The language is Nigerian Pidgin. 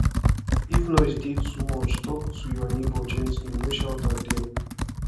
if noise dey too much talk to your neighbor gently no shout at dem